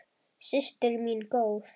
Systir mín góð.